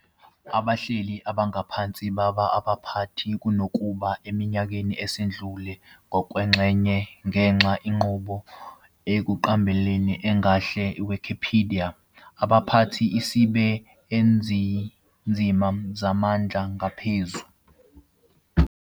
Abahleli abangaphansi baba abaphathi kunokuba eminyakeni esidlule, ngokwengxenye ngenxa inqubo ekunqabeleni engahle Wikipedia abaphathi isibe ezinzima zamandla angaphezu.